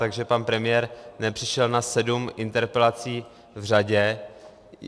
Takže pan premiér nepřišel na sedm interpelací v řadě.